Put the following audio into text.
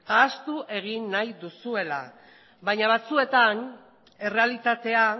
ahaztu egin nahi duzuela baina batzuetan errealitatea